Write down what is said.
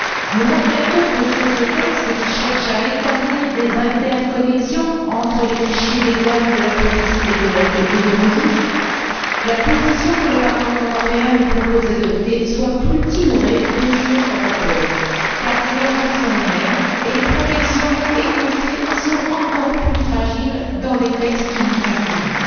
Nous regrettons que, sur ce texte qui cherche à établir des interconnexions entre les fichiers des douanes, de la police et d'Eurojust, la position que le Parlement européen nous propose d'adopter soit plus timorée que sur Europol car les dangers sont les mêmes et les protections énoncées sont encore plus fragiles dans les textes qui nous sont soumis.